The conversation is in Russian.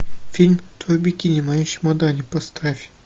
фильм твое бикини в моем чемодане поставь